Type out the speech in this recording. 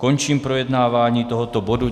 Končím projednávání tohoto bodu.